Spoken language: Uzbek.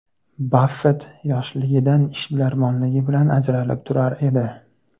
Baffett yoshligidan ishbilarmonligi bilan ajralib turar edi.